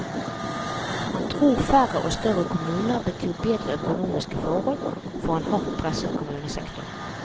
Han tror færre og større kommuner betyr bedre økonomiske forhold for en hardt presset kommunesektor.